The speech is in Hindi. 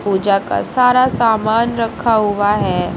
पूजा का सारा सामान रखा हुआ है।